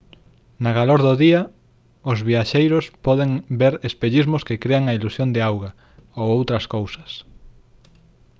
na calor do día os viaxeiros poden ver espellismos que crean a ilusión de auga ou outras cousas